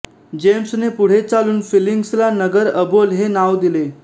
जेम्सने पुढे चालून फिलिंग्सला नगर बओल हे नाव दिले